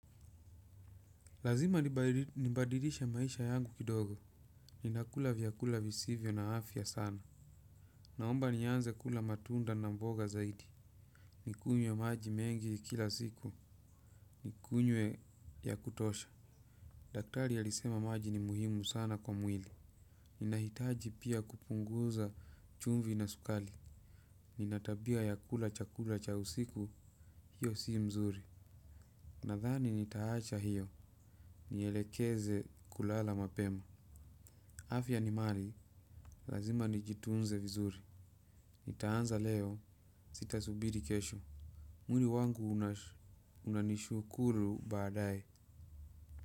Lazima ni badilishe maisha yangu kidogo. Ninakula vyakula visivyo na afya sana. Naomba nianze kula matunda na mboga zaidi. Nikunywe maji mengi kila siku. Nikunywe ya kutosha. Daktari alisema maji ni muhimu sana kwa mwili. Ninahitaji pia kupunguza chumvi na sukali. Nina tabia ya kula chakula cha usiku. Hiyo si mzuri. Nadhani nitaacha hiyo. Nielekeze kulala mapema. Afya ni mali, lazima ni jitunze vizuri. Nitaanza leo, sitasubiri kesho. Mwili wangu unanishukuru baadae.